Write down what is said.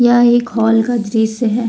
यह एक हॉल का दृश्य है।